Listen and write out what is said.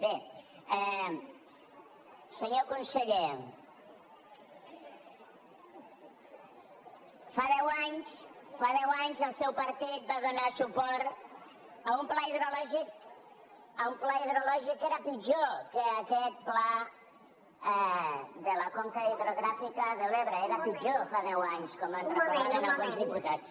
bé senyor conseller fa deu anys el seu partit va donar suport a un pla hidrològic que era pitjor que aquest pla de la conca hidrogràfica de l’ebre era pitjor fa deu anys com ens recordaven alguns diputats